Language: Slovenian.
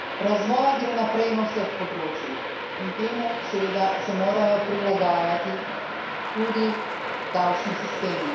Razvoj gre naprej na vsej področjih in temu seveda se morajo prilagajati tudi davčni sistemi.